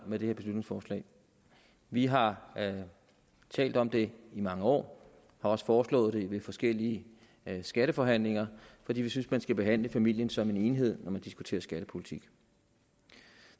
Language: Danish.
med det her beslutningsforslag vi har talt om det i mange år og også foreslået det ved forskellige skatteforhandlinger fordi vi synes at man skal behandle familien som en enhed når man diskuterer skattepolitik